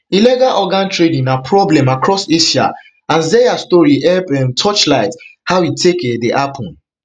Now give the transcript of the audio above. illegal organ trading na problem across asia and zeya story help um torchlight how e dey take um happun